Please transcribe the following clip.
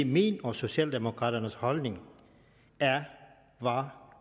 min og socialdemokraternes holdning er var